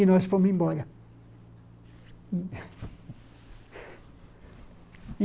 E nós fomos embora.